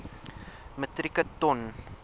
metrieke ton